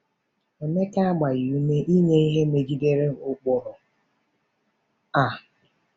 Emeka agbaghị ume inye ihe megidere ụkpụrụ a.